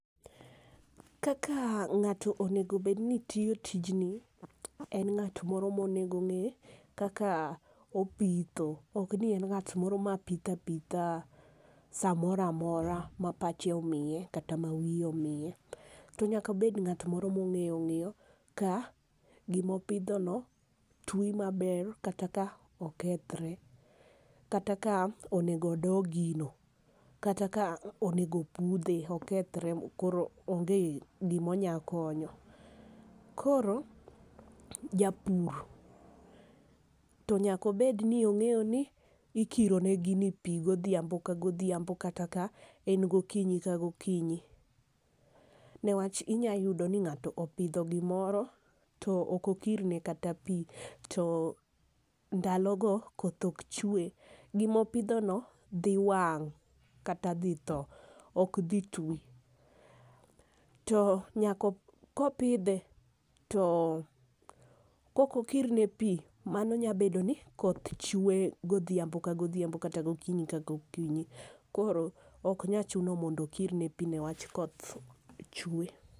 Kaka ng'ato onego bed ni tiyo tijni en ng'at moro ma onego ng'e kaka ipitho ok ni en ngat moro ma pitho apitha sa moro amora ma pachhe omiye kata ma wiye omiye. To nyaka obed ng'at moro ma ong'e ng'iyo ka gi ma opidho no ti ma ber ,kata ka okethre, kata ka onego odo gino, kata ka onego opudhe okethere makoro onge gi ma onyalo konyo. Koro japur to nyaka obed ni onge ni gi ni ikiro ne gini godhiambo ka godhiambo kata ka en gokiny ka gokiny. Ne wach inya yudo ni ng'ato opidho gi moro to ok okir ne kata pi to ndalo go koth ok chwe. Gi ma opidho no dhi wang' kata dhi thoo ok odhi twi. To nyaka ko opidhe to kok okir ne pi o mano nya be do ni koth chwe godhiambio ka godhiambo kata gokinyi ka gokinyi. Koro ok nya chuno mondo okir ne pi ne wach koth chwe.